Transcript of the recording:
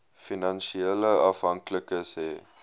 finansiële afhanklikes hê